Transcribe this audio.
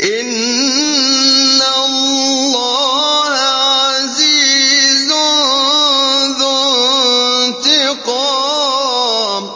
إِنَّ اللَّهَ عَزِيزٌ ذُو انتِقَامٍ